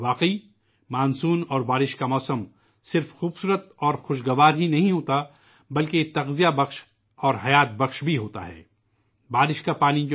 یقیناً، مانسون اور بارش کا موسم نہ صرف خوبصورت اور خوشگوار ہے، بلکہ یہ حیات بخش اور نشو و نما کرنے والا بھی ہے